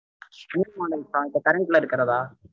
new models தா இப்போ current ல இருக்கிறதா?